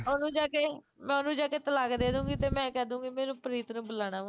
ਮੈਂ ਉਹਨੂੰ ਜਾਂ ਕੇ, ਮੈਂ ਓਹਨੂੰ ਜਾਕੇ ਤਲਾਕ ਦੇਦੂਗੀ ਤੇ ਮੈਂ ਕਹਿਦੂਗੀ ਮੈਨੂੰ ਪ੍ਰੀਤ ਨੂੰ ਬੁਲਾਉਣਾ ਵਾਂ